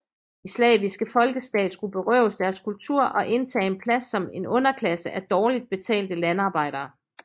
De slaviske folkeslag skulle berøves deres kultur og indtage en plads som en underklasse af dårligt betalte landarbejdere